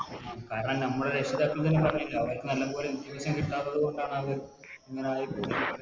കാരണം നമ്മള് രക്ഷിതാക്കള് തന്നെ പറഞ്ഞില്ലേ അവരിക്ക് നല്ലപോലെ വിദ്യാഭ്യാസം കിട്ടാത്തത് കൊണ്ടാണ് അവർ ഇങ്ങനെ ആയിപോയത്